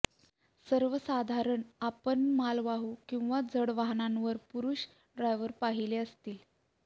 सर्वसाधारण आपण मालवाहू किंवा जड वाहनांवर पुरूष ड्रायव्हर पाहिले असतील